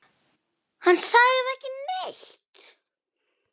Hann sagði ekki neitt.